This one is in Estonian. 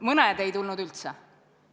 Mõned ei tulnud üldse.